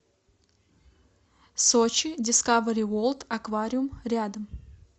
сочи дискавери ворлд аквариум рядом